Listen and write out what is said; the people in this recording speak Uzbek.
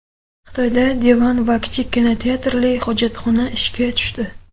Xitoyda divan va kichik kinoteatrli hojatxona ishga tushdi.